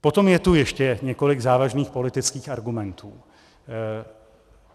Potom je tu ještě několik závažných politických argumentů.